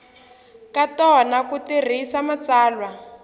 ka tona ku tirhisa matsalwa